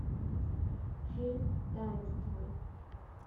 фильм таинство